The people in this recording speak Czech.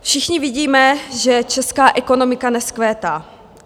Všichni vidíme, že česká ekonomika nevzkvétá.